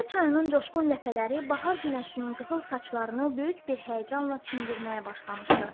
Gəncə çayının coşqun ləpələri bahar günəşinin qızıl saçlarını böyük bir həyəcanla çimdirmağa başlamışdı.